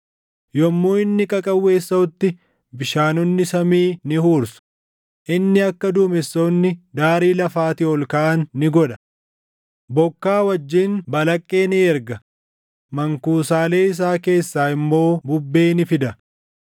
Yommuu inni qaqawweessaʼutti bishaanonni samii ni huursu; inni akka duumessoonni daarii lafaatii ol kaʼan ni godha. Bokkaa wajjin balaqqee ni erga; mankuusaalee isaa keessaa immoo bubbee ni fida.